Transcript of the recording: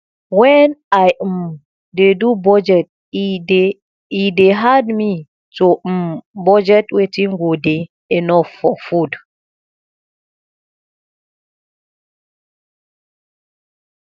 wen i um dey do budget e dey e dey hard me to um budget wetin go dey enough for food